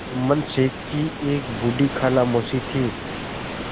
जुम्मन शेख की एक बूढ़ी खाला मौसी थी